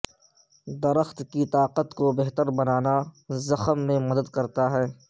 درخت کی طاقت کو بہتر بنانا زخم میں مدد کرتا ہے